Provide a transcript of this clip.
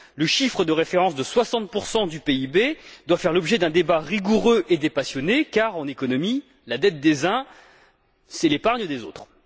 Le chiffre de référence de 60 du PIB doit faire l'objet d'un débat rigoureux et dépassionné, car, en économie, la dette des uns, c'est l'épargne des autres.